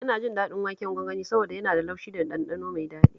Ina jin daɗin waken gwangwani saboda yana da laushi da ɗanɗano mai daɗi